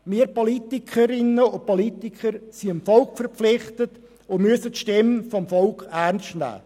Wir Politikerinnen und Politiker sind dem Volk verpflichtet, und wir müssen die Stimme des Volkes ernst nehmen.